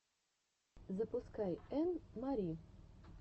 запускай энн мари